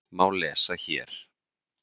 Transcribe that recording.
má lesa hér.